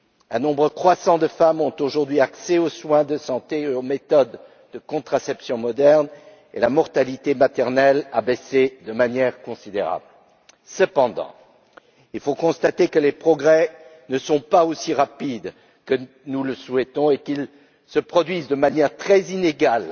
Un nombre croissant de femmes ont, aujourd'hui, accès aux soins de santé et aux méthodes de contraception modernes, et la mortalité maternelle a baissé de manière considérable. Cependant, il faut constater que les progrès ne sont pas aussi rapides que nous le souhaitons et qu'ils se produisent de manière très inégale